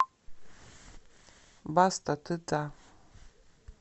баста ты та